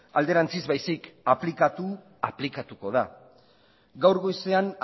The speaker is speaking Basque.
alderantziz baizik aplikatu aplikatuko da gaur goizean